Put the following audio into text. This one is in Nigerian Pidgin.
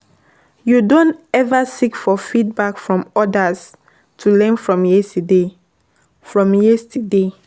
you don ever seek for feedback from odas to learn from yesterday? from yesterday?